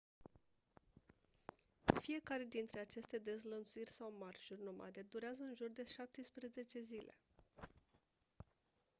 fiecare dintre aceste dezlănțuiri sau marșuri nomade durează în jur de 17 zile